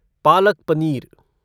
palak paneer